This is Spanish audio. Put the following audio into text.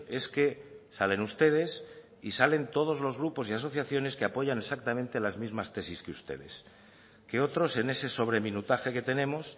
es que salen ustedes y salen todos los grupos y asociaciones que apoyan exactamente las mismas tesis que ustedes que otros en ese sobreminutaje que tenemos